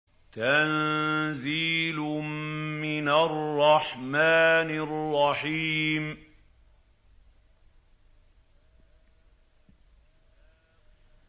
تَنزِيلٌ مِّنَ الرَّحْمَٰنِ الرَّحِيمِ